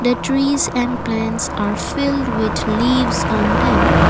the trees and plants are filled with leaves on them.